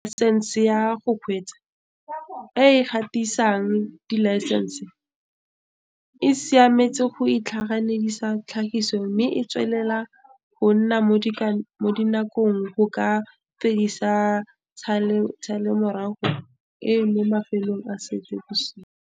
Laesense ya go Kgweetsa, e e gatisang dilaesense, e semeletse go itlhaganedisa tlhagiso mme e tswelela go nna mo dinakong go ka fedisa tshalelomorago e mo mafelong a Seetebosigo.